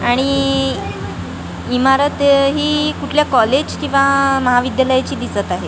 आणि इ ईमारत हि कुठल्या कॉलेज किंवा महाविद्यालयाची दिसत आहे.